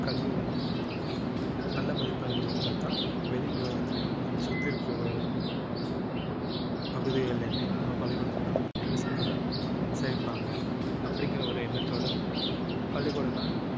கல்வி வந்து நல்ல மதிப்பெண்கள் இருந்தால்தான் வெளி உலகத்திலேயும் மத்~ சுத்தி இருக்கிற உலகத்~ பகுதிகளிலுமே நம்ம பள்ளிக்கூடத்துல வந்து பசங்களை சேர்ப்பாங்க அப்படிங்கிற ஒரு எண்ணத்தோட பள்ளிக்கூடங்கள்